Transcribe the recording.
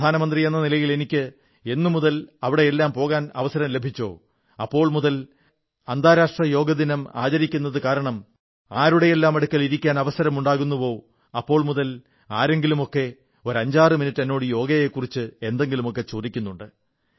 പ്രാധാനമന്ത്രിയെന്ന നിലയിൽ എനിക്ക് എന്നുമുതൽ എവിടെയെല്ലാം പോകാൻ അവസരം ലഭിച്ചോ അപ്പോൾ മുതൽ അന്താരാഷ്ട്ര യോഗാദിനം ആചരിക്കുന്നതു കാരണം ആരുടെയെല്ലാം അടുക്കൽ ഇരിക്കാൻ അവസരമുണ്ടാകുന്നുവോ അപ്പോൾ മുതൽ ആരെങ്കിലുമൊക്കെ അഞ്ചാറുമിനിട്ട് എന്നോട് യോഗയെക്കുറിച്ച് എന്തെങ്കിലുമൊക്കെ ചോദിക്കുന്നുണ്ട്